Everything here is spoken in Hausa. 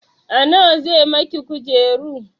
A nawa zai miki kujeru?